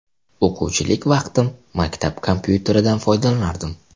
O‘quvchilik vaqtim maktab kompyuteridan foydalanardim.